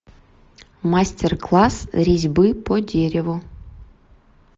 мастер класс резьбы по дереву